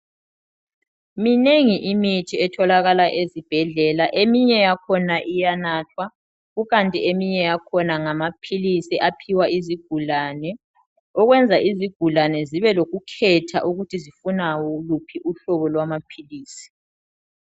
Minengi imithi etholakala ezibhedlela. Eminye yakhona iyanathwa, kukanti eminye yakhona ngamaphilisi aphiwa izigulane, okwenza izigulane zibe lokukhetha ukuthi sifuna luphi uhlobo lwamaphilisi.